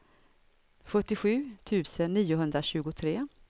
sjuttiosju tusen niohundratjugotre